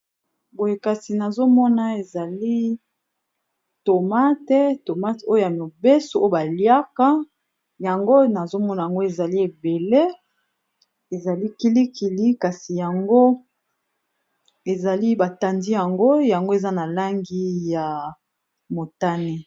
Boye kasi nazomona ezali tomate tomate oyo ya mibeso oyo baliaka yango nazomona yango ezali ebele ezali kilikili kasi yango ezali batandi yango yango eza na langi ya motane